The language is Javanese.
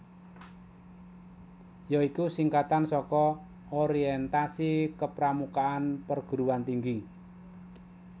ya iku singkatan saka Orientasi Kepramukaan Perguruan Tinggi